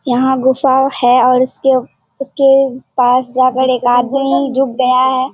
यहां गुफा है और इसके उसके पास जाकर एक आदमी जो गया है --